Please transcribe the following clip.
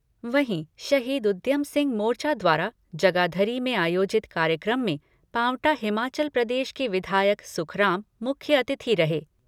वहीं शहीद उद्यम सिंह मोर्चा द्वारा जगाधरी मे आयोजित कार्यक्रम मे पांवटा हिमाचल प्रदेश के विधायक सुखराम मुख्य अतिथि रहे।